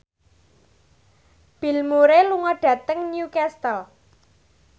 Bill Murray lunga dhateng Newcastle